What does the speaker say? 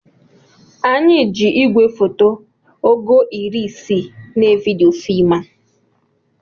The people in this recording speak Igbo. Anyị ji igwefoto ogo iri isii na evidiyo fim a